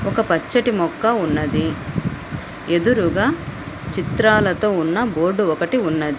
ఒక పచ్చటి మొక్క ఉన్నది ఎదురుగా చిత్రాలతో ఉన్న బోర్డు ఒకటి ఉన్నది.